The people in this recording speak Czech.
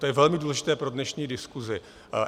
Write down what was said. To je velmi důležité pro dnešní diskuzi.